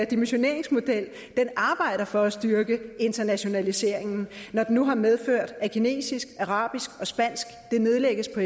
dimensioneringsmodel arbejder for at styrke internationaliseringen når den nu har medført at fagene kinesisk arabisk og spansk nedlægges på